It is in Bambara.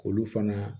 K'olu fana